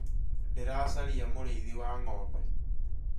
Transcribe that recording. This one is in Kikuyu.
Ndĩracaria mũrĩithi wa ngombe